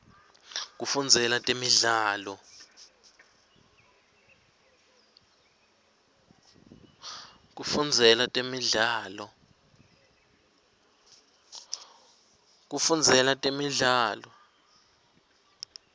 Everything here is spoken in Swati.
kufundzela temidlalo